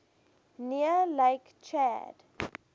near lake chad